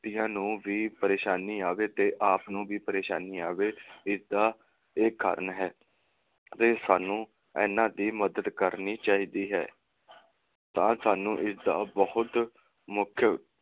ਵਿਅਕਤੀਆਂ ਨੂੰ ਵੀ ਪਰੇਸ਼ਾਨੀ ਆਵੇ ਤੇ ਆਪ ਨੂੰ ਵੀ ਪਰੇਸ਼ਾਨੀ ਆਵੇ ਇਸਦਾ ਇਹ ਕਾਰਨ ਹੈ, ਤਾਂ ਸਾਨੂੰ ਇਨ੍ਹਾਂ ਦੀ ਮਦਦ ਕਰਨੀ ਚਾਹੀਦੀ ਹੈ ਤਾਂ ਸਾਨੂੰ ਇਸਦਾ ਬਹੁਤ